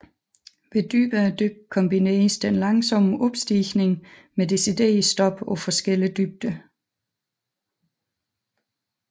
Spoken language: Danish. Ved dybere dyk kombineres den langsomme opstigning med deciderede stop på forskellige dybder